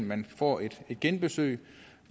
man får et genbesøg